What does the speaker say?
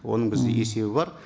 оның бізде есебі бар